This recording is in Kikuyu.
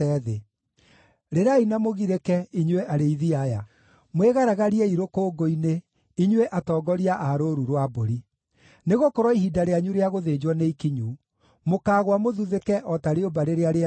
Rĩrai na mũgirĩke, inyuĩ arĩithi aya; mwĩgaragariei rũkũngũ-inĩ, inyuĩ atongoria a rũũru rwa mbũri. Nĩgũkorwo ihinda rĩanyu rĩa gũthĩnjwo nĩ ikinyu; mũkaagũa mũthuthĩke o ta rĩũmba rĩrĩa rĩega mũno.